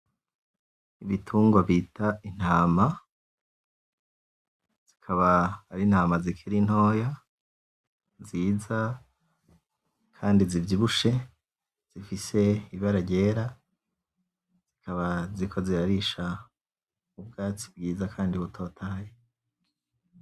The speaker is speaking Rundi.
Ibitungwa bita intama zikaba ari intama zikiri ntoya nziza kandi zivyibushe zifise ibara ryera zikaba ziriko zirarisha ubwatsi bwiza kandi butotahaye